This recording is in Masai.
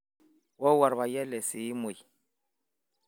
oowuo olpayian le Siimoi